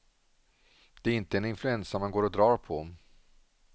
Det är inte en influensa man går och drar på.